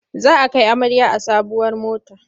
Za a kai amarya a sabuwar mota.